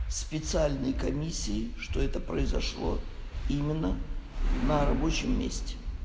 специальные комиссии что это произошло именно на рабочем месте